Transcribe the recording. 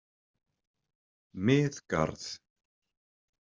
Miðgarð